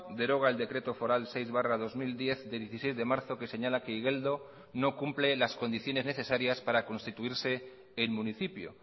deroga el decreto foral seis barra dos mil diez de dieciséis de marzo que señala que igeldo no cumple las condiciones necesarias para constituirse en municipio